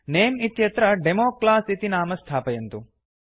नमे इत्यत्र डेमोक्लास इति नाम स्थापयन्तु